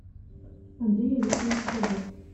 андрей олегович бобок